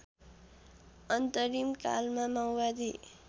अन्तरिम कालमा माओवादी